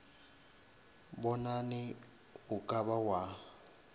bonane o ka ba wa